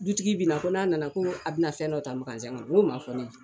Dutigi bina ko n'a nana ko a bina fɛn dɔ ta n k'o ma fɔ ne ye.